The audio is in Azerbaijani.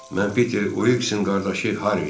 Mən Peter Wiksin qardaşı Harryyəm.